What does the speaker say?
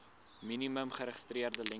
minimum geregistreerde lengte